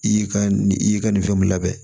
I y'i ka nin i y'i ka nin fɛn mun labɛn